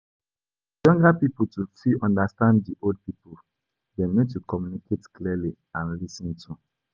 For di younger pipo to fit understand di old pipo, dem need to communicate clearly and lis ten too